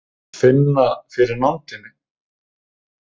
Finna fyrir nándinni.